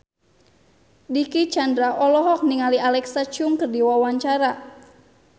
Dicky Chandra olohok ningali Alexa Chung keur diwawancara